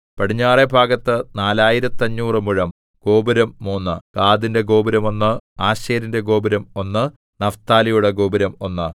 പടിഞ്ഞാറെ ഭാഗത്ത് നാലായിരത്തഞ്ഞൂറു മുഴം ഗോപുരം മൂന്ന് ഗാദിന്റെ ഗോപുരം ഒന്ന് ആശേരിന്റെ ഗോപുരം ഒന്ന് നഫ്താലിയുടെ ഗോപുരം ഒന്ന്